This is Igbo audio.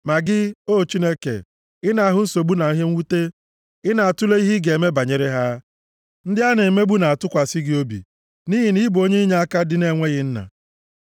Ma gị, O Chineke, ị na-ahụ nsogbu na ihe mwute, ị na-atule ihe ị ga-eme banyere ha. Ndị a na-emegbu na-atụkwasị gị obi, nʼihi na ị bụ onye inyeaka ndị na-enweghị nna.